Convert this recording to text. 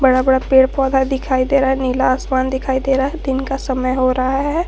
बड़ा बड़ा पेड़ पौधा दिखाई दे रहा है नीला आसमान दिखाई दे रहा है दिन का समय हो रहा है।